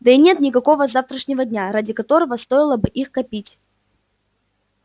да и нет никакого завтрашнего дня ради которого стоило бы их копить